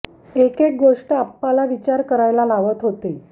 एक एक गोष्ट आप्पाला विचार करायला लावत होती